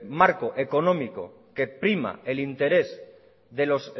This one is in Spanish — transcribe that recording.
marco económico que prima el interés de los